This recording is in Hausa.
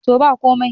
to ba komai